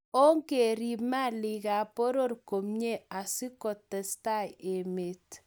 Ong'rib malikab poror komie asikotastai emet